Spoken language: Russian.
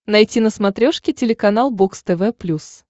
найти на смотрешке телеканал бокс тв плюс